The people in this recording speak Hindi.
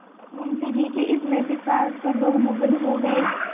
मुंशी जी के इस नैतिक साहस पर लोग मुगध हो गए